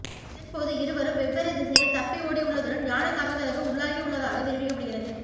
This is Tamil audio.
இதன்போது இருவரும் வெவ்வேறு திசையில் தப்பி ஓடியுள்ளதுடன் யானை தாக்குதலுக்கு உள்ளாகியுள்ளதாக தெரிவிக்கப்படுகிறது